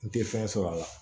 N tɛ fɛn sɔrɔ a la